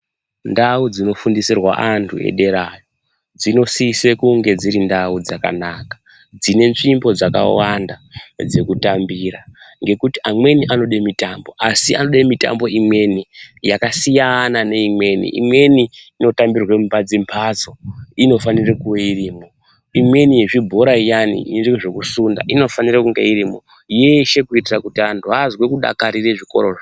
Ndau dzinofundisirwa anthu edera dzinosise kunge dziri ndau dzakanaka dzine nzvimbo dzakawanda dzekutambira ngekuti amweni anode mitambo asi anode mitambo imweni yakasiyana neimweni imweni inotambirwa mumadzimbatso inofanira kuwe irimo imweni yezvibhora iyani ine zvekusunda inofanirwe kunge irimwo yeshe kuitire kuti anthu azwe kudakarira zvikorazvo.